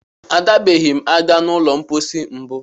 A dabeghị m ada n'ụlọ mkpọsi mbụ.